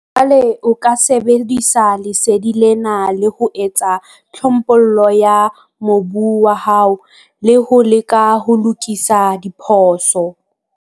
Jwale o ka sebedisa lesedi lena, le ho etsa tlhophollo ya mobu wa hao, le ho leka ho lokisa diphoso.